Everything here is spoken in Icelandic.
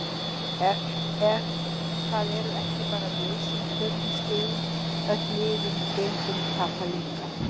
En það eru ekki bara við sem töpum stigum, öll liðin í deildinni tapa líka.